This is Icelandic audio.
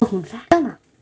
Og hún fékk hana.